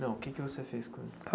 Não, o que é que você fez com ele?